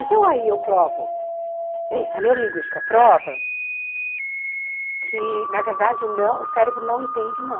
Então, aí eu provo, a neurolinguística prova que, na verdade, o não o cérebro não entende o não.